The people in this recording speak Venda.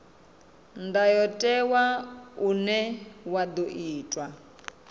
ndayotewa une wa ḓo itwa